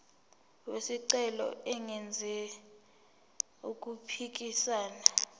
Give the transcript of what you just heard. wesicelo engenzi okuphikisana